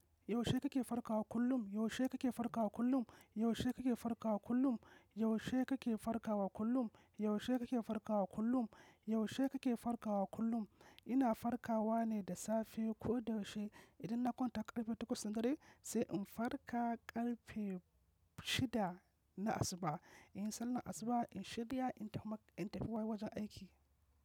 Yaushe kake farkawa kullum? Yaushe kake farkawa kullum? Yaushe kake farkawa kullum? Yaushe kake farkawa kullum? Yaushe kake farkawa kullum? Yaushe kake farkawa kullum? Ina farkawa ne da safe ko da yaushe. Idan na kwanta karfe takwas na dare, sai in farka karfe shida na asuba. Inyi sallah a asuba, in shirya in tafi wai wajen aiki.